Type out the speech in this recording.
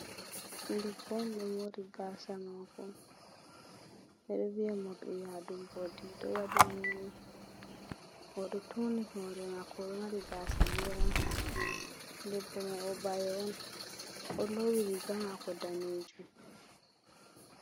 Debbo on ɗo mori gasa mako, ɓeɗo viya morɗiyadu mbodi ɗo waɗi ni ni, oɗo tuɗu turni hore mako, oɗo mari gasa gera, debbo mai o bayo on, o ɗo lowi riga mako dane jum.